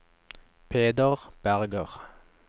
Peder Berger